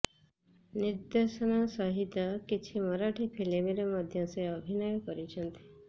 ନିର୍ଦ୍ଦେଶନା ସହିତ କିଛି ମରାଠୀ ଫିଲ୍ମରେ ମଧ୍ୟ ସେ ଅଭିନୟ କରିଛନ୍ତି